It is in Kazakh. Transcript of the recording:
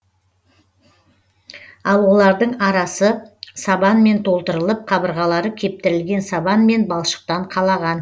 ал олардың арасы сабанмен толтырылып қабырғалары кептірілген сабан мен балшықтан қалаған